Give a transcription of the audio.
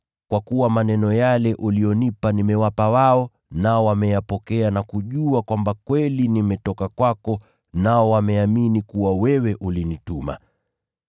kwa kuwa maneno yale ulionipa nimewapa wao, nao wameyapokea na kujua kwamba kweli nimetoka kwako, nao wameamini kuwa wewe ulinituma.